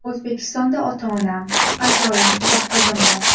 O‘zbekistonda ota-onam, ayolim, bir qizim bor.